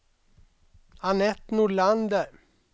Annette Nordlander